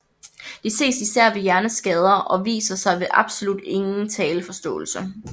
Det ses især ved hjerneskader og viser sig ved absolut ingen talforståelse